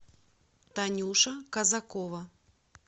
танюша казакова